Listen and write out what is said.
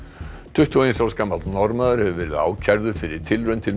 tuttugu og eins árs gamall Norðmaður hefur verið ákærður fyrir tilraun til